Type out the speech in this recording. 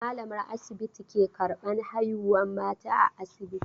Malamar asibiti ke karban haihuwar mata a asibiti.